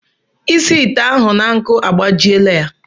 Ịsi ite ahụ na nkụ agbajiela ya.